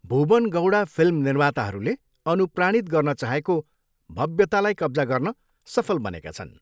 Bhuwan Gowda film निर्माताहरूले अनुप्राणित गर्न चाहेको भव्यतालाई कब्जा गर्न सफल बनेका छन्।